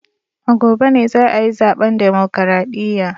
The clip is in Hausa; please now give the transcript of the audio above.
A gobe ne za a yi zaben Demokradiyya